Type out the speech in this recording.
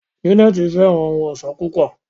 Janet fẹràn ohùn ọṣọ púpọ.